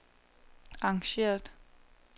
arrangeret